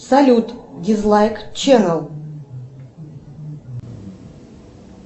салют дизлайк ченел